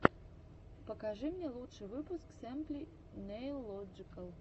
покажи мне лучший выпуск симпли нейлоджикал